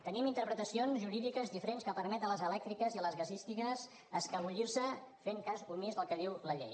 tenim interpretacions jurídiques diferents que permeten a les elèctriques i a les gasístiques escapolir se fent cas omís del que diu la llei